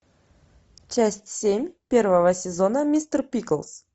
часть семь первого сезона мистер пиклз